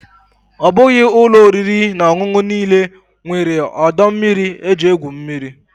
Ọ bụghị ụlọ oriri na ọṅụṅụ niile nwere ọdọ mmiri eji egwu mmiri.